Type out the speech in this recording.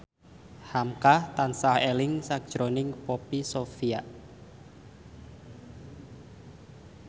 hamka tansah eling sakjroning Poppy Sovia